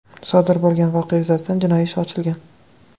Sodir bo‘lgan voqea yuzasidan jinoiy ish ochilgan.